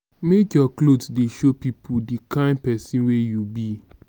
make your clothes dey show pipo di kain pesin wey you be.